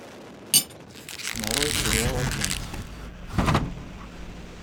нарой сериал агент